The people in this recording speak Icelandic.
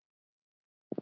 Í því gekk